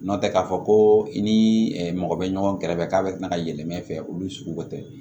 Nɔntɛ k'a fɔ ko i ni mɔgɔ bɛ ɲɔgɔn kɛrɛfɛ k'a bɛ tila ka yɛlɛmɛ fɛ olu sugu bɛ tɛ